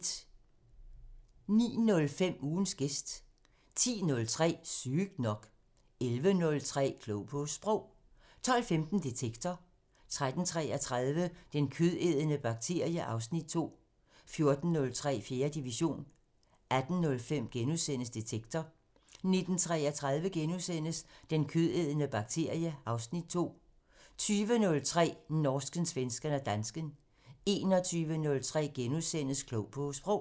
09:05: Ugens gæst 10:03: Sygt nok 11:03: Klog på Sprog 12:15: Detektor 13:33: Den kødædende bakterie (Afs. 2) 14:03: 4. division 18:05: Detektor * 19:33: Den kødædende bakterie (Afs. 2)* 20:03: Norsken, svensken og dansken 21:03: Klog på Sprog *